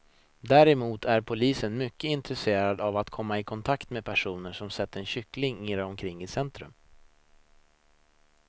Däremot är polisen mycket intresserad av att komma i kontakt med personer som sett en kyckling irra omkring i centrum.